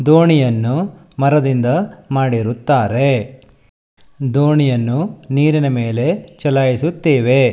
ದೋಣಿಯನ್ನು ಮರದಿಂದ ಮಾಡಿರುತ್ತಾರೆ ದೋಣಿಯನ್ನು ನೀರಿನ ಮೇಲೆ ಚಲಾಯಿಸುತ್ತೇವೆ.